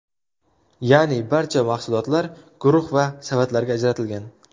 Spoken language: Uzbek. Ya’ni, barcha mahsulotlar guruh va qavatlarga ajratilgan.